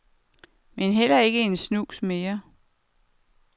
Men heller ikke en snus mere.